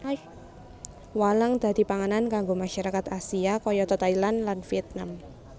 Walang dadi panganan kanggo masyarakat Asia kayata Thailand lan Vietnam